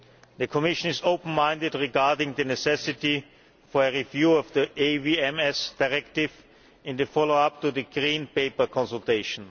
The Commission is open minded regarding the necessity for a review of the AVMS Directive in the follow up to the Green Paper consultation.